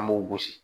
An b'o gosi